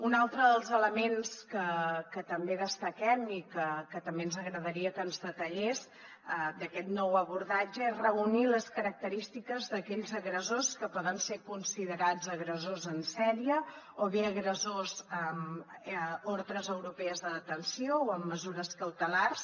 un altre dels elements que també destaquem i que també ens agradaria que ens detallés d’aquest nou abordatge és reunir les característiques d’aquells agressors que poden ser considerats agressors en sèrie o bé agressors amb ordres europees de detenció o amb mesures cautelars